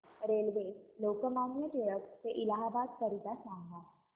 railway Lokmanya Tilak ट ते इलाहाबाद करीता सांगा